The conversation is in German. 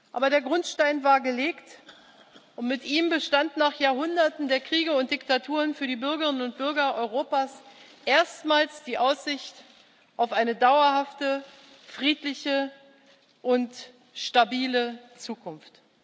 Aber der Grundstein war gelegt, und mit ihm bestand nach Jahrhunderten der Kriege und Diktaturen für die Bürgerinnen und Bürger Europas erstmals die Aussicht auf eine dauerhafte friedliche und stabile Zukunft.